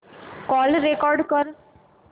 call record कर